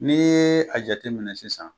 N'i ye a jate minɛ sisan,